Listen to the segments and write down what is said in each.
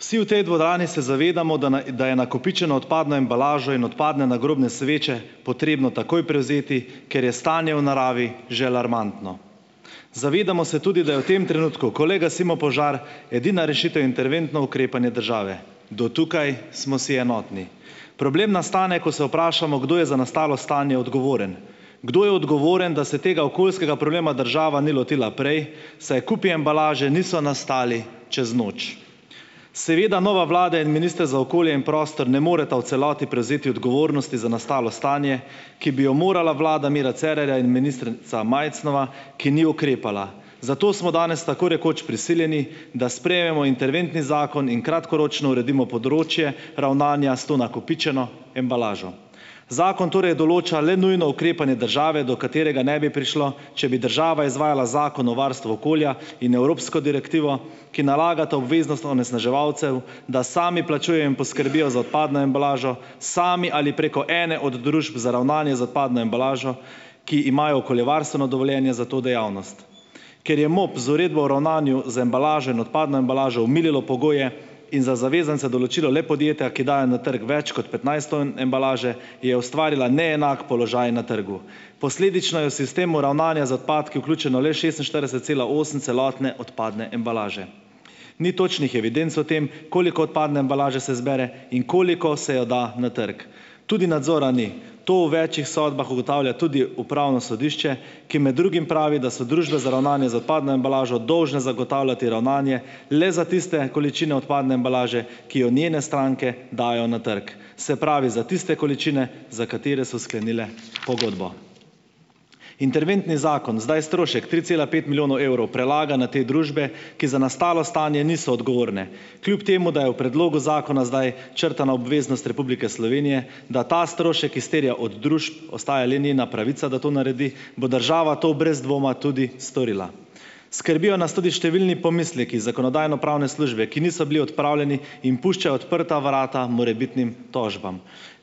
Vsi v tej dvorani se zavedamo, da na da je nakopičeno odpadno embalažo in odpadne nagrobne sveče potrebno takoj prevzeti, ker je stanje v naravi že alarmantno. Zavedamo se tudi, da je v tem trenutku, ko le gasimo požar, edina rešitev interventno ukrepanje države. Do tukaj smo si enotni. Problem nastane, ko se vprašamo, kdo je za nastalo stanje odgovoren. Kdo je odgovoren, da se tega okoljskega problema država ni lotila prej, saj kupi embalaže niso nastali čez noč. Seveda nova vlada in minister za okolje in prostor ne moreta v celoti prevzeti odgovornosti za nastalo stanje, ki bi jo morala vlada Mira Cerarja in ministrica Majcnova, ki ni ukrepala. Zato smo danes tako rekoč prisiljeni, da sprejmemo interventni zakon in kratkoročno uredimo področje ravnanja s to nakopičeno embalažo. Zakon torej določa le nujno ukrepanje države, do katerega ne bi prišlo, če bi država izvajala Zakon o varstvu okolja in evropsko direktivo, ki nalagata obveznost onesnaževalcev, da sami plačujejo in poskrbijo za odpadno embalažo, sami ali preko ene od družb za ravnanje z odpadno embalažo, ki imajo okoljevarstveno dovoljenje za to dejavnost. Ker je MOP z uredbo o ravnanju z embalažo in odpadno embalažo omililo pogoje in za zavezance določilo le podjetja, ki dajo na trgu več kot petnajst ton embalaže, je ustvarila neenak položaj na trgu. Posledično je v sistemu ravnanja z odpadki vključeno le šestinštirideset cela osem celotne odpadne embalaže. Ni točnih evidenc o tem, koliko odpadne embalaže se zbere in koliko se jo da na trg. Tudi nadzora ni. To v večih sodbah ugotavlja tudi upravno sodišče, ki med drugim pravi, da so družbe za ravnanje z odpadno embalažo dolžne zagotavljati ravnanje le za tiste količine odpadne embalaže, ki jo njene stranke dajo na trg, se pravi za tiste količine, za katere so sklenile pogodbo. Interventni zakon zdaj strošek tri cela pet milijonov evrov prelaga na te družbe, ki za nastalo stanje niso odgovorne. Kljub temu da je v predlogu zakona zdaj črtana obveznost Republike Slovenije, da ta strošek izterja od družb, ostaja le njena pravica, da to naredi, bo država to brez dvoma tudi storila. Skrbijo nas tudi številni pomisleki Zakonodajno-pravne službe, ki niso bili odpravljeni in puščajo odprta vrata morebitnim tožbam.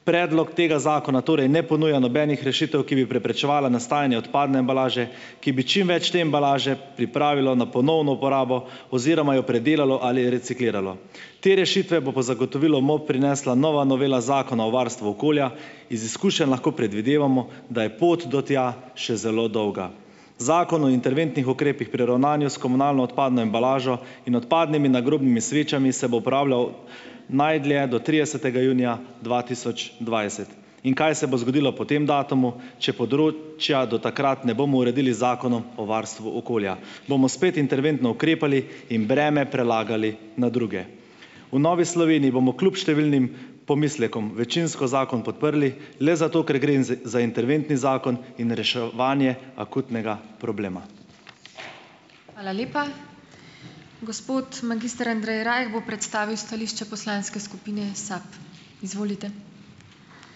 Predlog tega zakona torej ne ponuja nobenih rešitev, ki bi preprečevala nastajanje odpadne embalaže, ki bi čim več te embalaže pripravilo na ponovno uporabo oziroma jo predelalo ali recikliralo. Te rešitve bo po zagotovilu MOP prinesla nova novela Zakona o varstvu okolja. Iz izkušenj lahko predvidevamo, da je pot do tja še zelo dolga. Zakon o interventnih ukrepih pri ravnanju s komunalno odpadno embalažo in odpadnimi nagrobnimi svečami se bo uporabljal najdlje do tridesetega junija dva tisoč dvajset. In kaj se bo zgodilo po tem datumu, če področja do takrat ne bomo uredili Zakonom o varstvu okolja, bomo spet interventno ukrepali in breme prelagali na druge? V Novi Sloveniji bom kljub številnim pomislekom večinsko zakon podprli le zato, ker gre in za interventni zakon in reševanja akutnega problema.